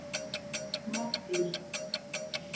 Maddý